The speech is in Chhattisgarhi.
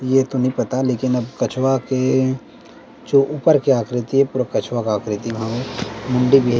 ये तो नहीं पता लेकिन अब कछुआ के जो ऊपर के आकृति हे पूरा कछुआ का आकृति मानो मुंडी में--